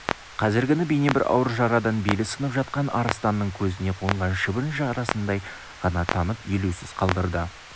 қазіргіні бейне бір ауыр жарадан белі сынып жатқан арыстанның көзіне қонған шыбын жарасындай ғана танып елеусіз қалдырды